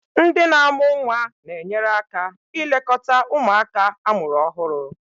Ndị na amu nwa na-enyere aka ilekọta ụmụaka amụrụ ọhụrụ.